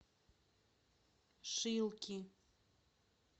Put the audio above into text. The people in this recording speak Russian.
шилки